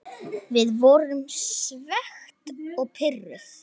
Við vorum svekkt og pirruð.